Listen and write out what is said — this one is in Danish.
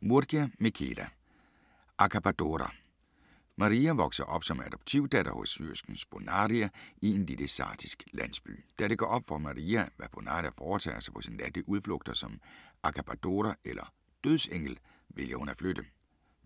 Murgia, Michela: Accabadora Maria vokser op som adoptivdatter hos syersken Bonaria i en lille sardisk landsby. Da det går op for Maria, hvad Bonaria foretager sig på sine natlige udflugter som accabadora eller dødsengel, vælger hun at flytte.